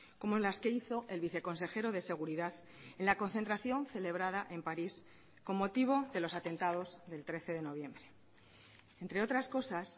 como las que hizo el viceconsejero de seguridad en la concentración celebrada en paris con motivo de los atentados del trece de noviembre entre otras cosas